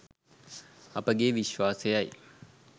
අපගේ විශ්වාසයයි.